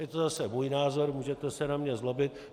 Je to zase můj názor, můžete se na mě zlobit.